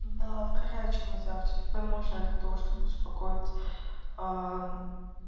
да в горячий нельзя в тёплый можно для того чтобы успокоить